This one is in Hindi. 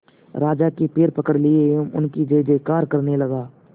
राजा के पैर पकड़ लिए एवं उनकी जय जयकार करने लगा